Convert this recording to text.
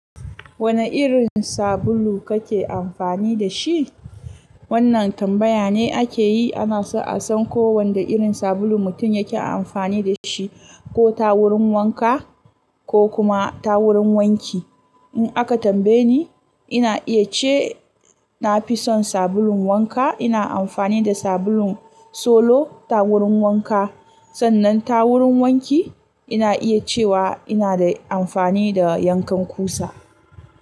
Wane irin sabulu kake amfani da shi? Wannan tambaya ne ake yi ana so a san ko wanda irin sabulu mutum yake amfani da shi ko ta wurin wanka ko kuma ta wurin wanki. In aka tambaye ni, ina iya ce na fi son sabulun wanka. Ina amfani da sabulun Solo ta wurin wanka. Sannan ta wurin wanki ina iya cewa ina da amfani da yankan kusa.